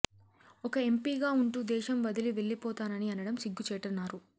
ఒక ఎంపీగా ఉంటూ దేశం వదిలి వెళ్లిపోతానని అనడం సిగ్గు చేటన్నారు